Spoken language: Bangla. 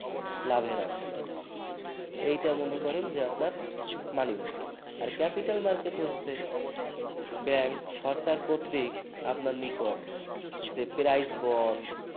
লাভের আশায় এটা মনে করেন যে আপনার money market । আর capital market হচ্ছে bank সরকার কর্তৃক আপনার নিকট যে price bond